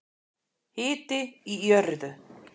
Hiti í jörðu